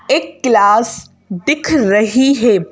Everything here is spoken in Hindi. एक क्लास दिख रही है।